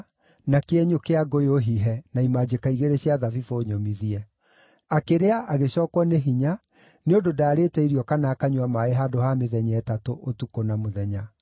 na kĩenyũ kĩa ngũyũ hihe na imanjĩka igĩrĩ cia thabibũ nyũmithie. Akĩrĩa agĩcookwo nĩ hinya, nĩ ũndũ ndaarĩte irio kana akanyua maaĩ handũ ha mĩthenya ĩtatũ, ũtukũ na mũthenya.